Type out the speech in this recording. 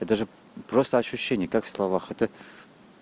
это же просто ощущение как в словах это